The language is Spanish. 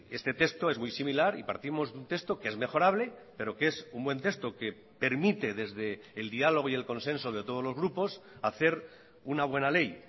este texto es muy similar y partimos de un texto que es mejorable pero que es un buen texto que permite desde el diálogo y el consenso de todos los grupos hacer una buena ley